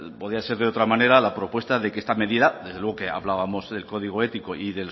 podía ser de otra manera la propuesta de que esta medida que hablábamos del código ético y